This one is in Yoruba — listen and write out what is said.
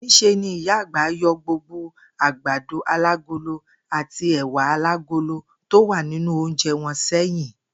Ní s̩e ni Ìyá àgbà yo̩ gbogbo àgbàdo alágolo àti è̩wà alágolo tó wà nínú oúnje̩ wo̩n sé̩yìn